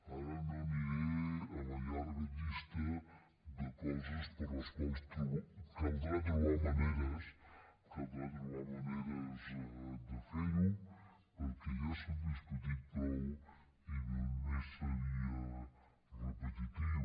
ara no aniré a la llarga llista de coses per les quals caldrà trobar ma·neres de fer·ho perquè ja s’ha discutit prou i només seria repetitiu